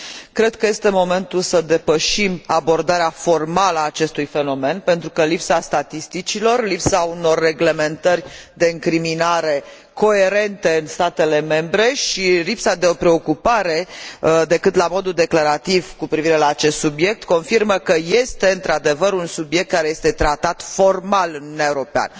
Cred că este momentul să depășim abordarea formală a acestui fenomen, pentru că lipsa statisticilor, lipsa unor reglementări de incriminare coerente în statele membre și lipsa de preocupare, decât la modul declarativ, cu privire la acest subiect confirmă că este, într adevăr, un subiect care este tratat formal în Uniunea Europeană.